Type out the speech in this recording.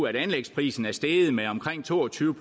at anlægsprisen er steget med omkring to og tyve